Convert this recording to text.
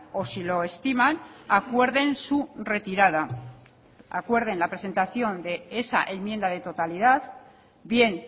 o si lo estiman acuerden su retirada acuerden la presentación de esa enmienda de totalidad bien